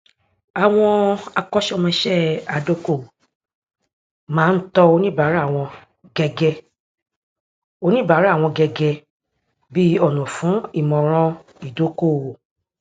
àwọn akọṣẹmọṣẹ adókòówò máa ń tọ oníbàárà wọn gẹgẹ oníbàárà wọn gẹgẹ bí ọnà fún ìmọràn ìdókòówò